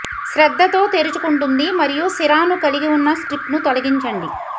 శ్రద్ధతో తెరుచుకుంటుంది మరియు సిరాను కలిగి ఉన్న స్ట్రిప్ను తొలగించండి